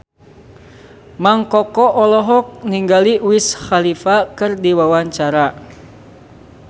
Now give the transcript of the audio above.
Mang Koko olohok ningali Wiz Khalifa keur diwawancara